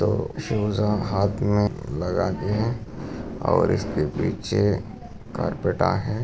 तो शूजा हाथ मे लगाते है और इसके पीछे करपेटा है।